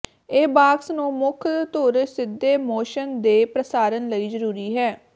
ਇਹ ਬਾਕਸ ਨੂੰ ਮੁੱਖ ਧੁਰ ਸਿੱਧੇ ਮੋਸ਼ਨ ਦੇ ਪ੍ਰਸਾਰਣ ਲਈ ਜ਼ਰੂਰੀ ਹੈ